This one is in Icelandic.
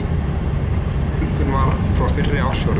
Engin fjölgun var frá fyrra ársfjórðungi